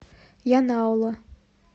янаула